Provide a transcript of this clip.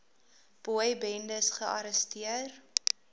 boy bendes gearresteer